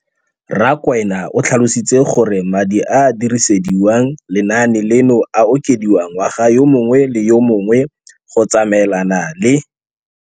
Rakwena o tlhalositse gore madi a a dirisediwang lenaane leno a okediwa ngwaga yo mongwe le yo mongwe go tsamaelana le